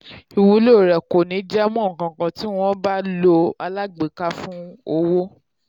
ìwúlò rẹ̀ kò ní jámọ́ ǹkankan tí wọ́n bá lo alágbèéká fún owó.